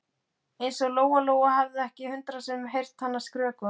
Eins og Lóa Lóa hefði ekki hundrað sinnum heyrt hana skrökva.